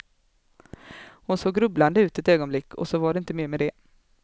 Hon såg grubblande ut ett ögonblick och så var det inte mer med det.